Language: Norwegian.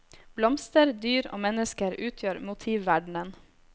Blomster, dyr og mennesker utgjør motivverdenen.